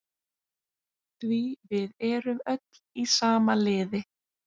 Því við erum öll í sama liði.